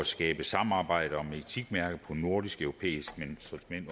skabe samarbejde om etikmærket på nordisk europæisk